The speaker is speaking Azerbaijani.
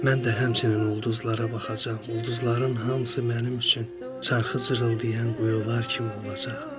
Mən də həmçinin ulduzlara baxacam, ulduzların hamısı mənim üçün carxı cırıldayan quyular kimi olacaq.